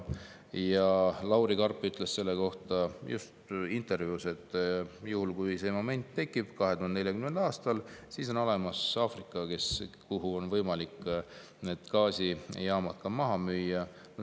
Ja Lauri Karp ütles selle kohta ühes intervjuus, et kui see moment tekib 2040. aastal, siis on olemas Aafrika, kuhu on võimalik need gaasijaamad maha müüa.